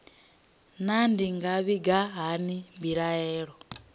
naa ndi nga vhiga hani mbilaelo